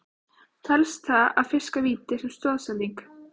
Telst það að fiska víti sem stoðsending?